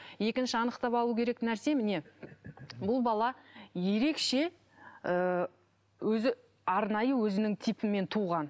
екінші анықтап алу керек нәрсе міне бұл бала ерекше ыыы өзі арнайы өзінің типімен туған